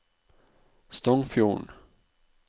Stongfjorden